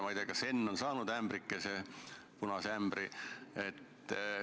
Ma ei tea, kas Henn on saanud punase ämbri.